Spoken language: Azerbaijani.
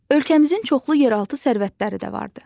Ölkəmizin çoxlu yeraltı sərvətləri də vardır.